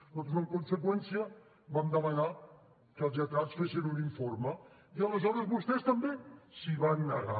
nosaltres en conseqüència vam demanar que els lletrats fessin un informe i aleshores vostès també s’hi van negar